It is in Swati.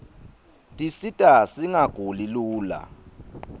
tisita singaguli lula